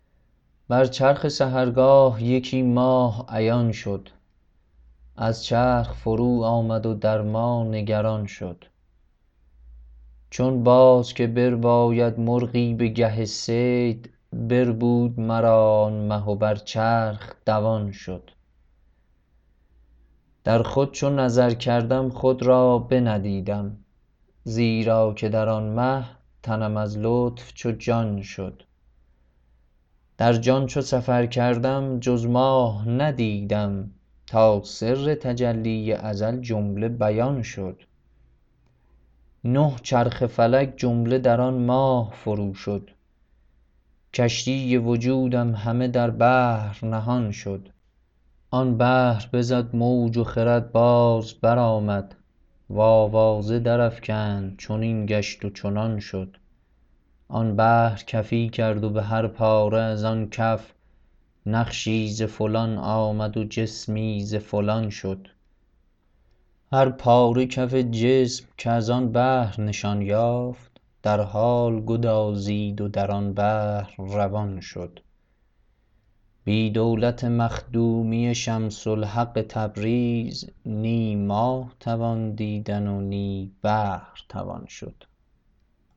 بر چرخ سحرگاه یکی ماه عیان شد از چرخ فرود آمد و در ما نگران شد چون باز که برباید مرغی به گه صید بربود مرا آن مه و بر چرخ دوان شد در خود چو نظر کردم خود را بندیدم زیرا که در آن مه تنم از لطف چو جان شد در جان چو سفر کردم جز ماه ندیدم تا سر تجلی ازل جمله بیان شد نه چرخ فلک جمله در آن ماه فروشد کشتی وجودم همه در بحر نهان شد آن بحر بزد موج و خرد باز برآمد و آوازه درافکند چنین گشت و چنان شد آن بحر کفی کرد و به هر پاره از آن کف نقشی ز فلان آمد و جسمی ز فلان شد هر پاره کف جسم کز آن بحر نشان یافت در حال گدازید و در آن بحر روان شد بی دولت مخدومی شمس الحق تبریز نی ماه توان دیدن و نی بحر توان شد